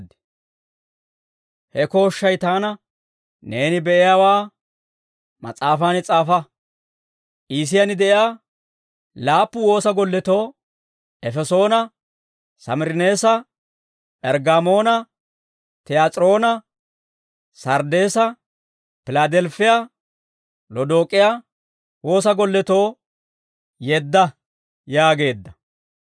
He kooshshay taana, «Neeni be'iyaawaa mas'aafan s'aafa; Iisiyaan de'iyaa laappu woosa golletoo, Efesoona, Samirineesa, P'erggaamoona, Tiyaas'iroona, Sarddeesa, Pilaadelifiyaa, Lodook'iyaa woosa golletoo yeedda» yaageedda.